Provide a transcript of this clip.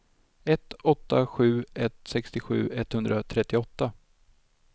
ett åtta sju ett sextiosju etthundratrettioåtta